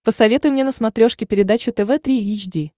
посоветуй мне на смотрешке передачу тв три эйч ди